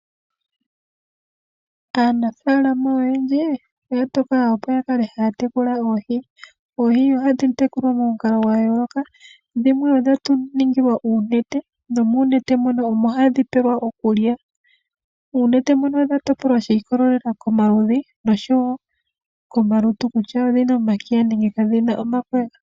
Aanafalama oyendji, oya tokola opo yakale haya tekula oohi. Oohi ohadhi tekulwa monukalo gwa yooloka dhimwe odha ningilwa uunete nomuunete mono omo hadhi pelwa okulya. Uunete mono odha topolwa shi ikolelela komaludhi noshowo komalutu kutya odhina omakiya nenge kadhina omakwega.